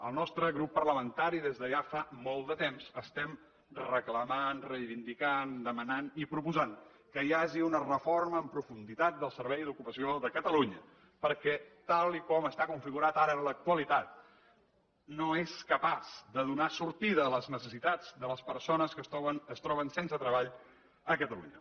el nostre grup parlamentari des de fa ja molt de temps estem reclamant reivindicant demanant i proposant que hi hagi una reforma en profunditat del servei d’ocupació de catalunya perquè tal com està configurat ara en l’actualitat no és capaç de donar sortida a les necessitats de les persones que es troben sense treball a catalunya